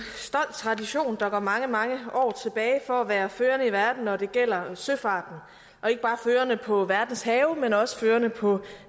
tradition der går mange mange år tilbage for at være førende i verden når det gælder søfarten og ikke bare førende på verdens have men også førende på